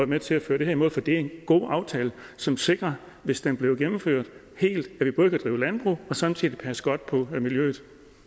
med til at føre det her i mål for det er en god aftale som sikrer hvis den bliver gennemført helt at vi både kan drive landbrug og samtidig passe godt på miljøet